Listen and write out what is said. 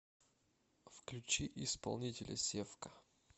включи исполнителя севка